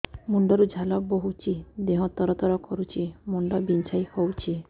ମୁଣ୍ଡ ରୁ ଝାଳ ବହୁଛି ଦେହ ତର ତର କରୁଛି ମୁଣ୍ଡ ବିଞ୍ଛାଇ ହଉଛି